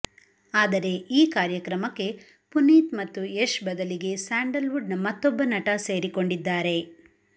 ಆದರೆ ಈ ಕಾರ್ಯಕ್ರಮಕ್ಕೆ ಪುನೀತ್ ಮತ್ತು ಯಶ್ ಬದಲಿಗೆ ಸ್ಯಾಂಡಲ್ ವುಡ್ ನ ಮತ್ತೊಬ್ಬ ನಟ ಸೇರಿಕೊಂಡಿದ್ದಾರೆ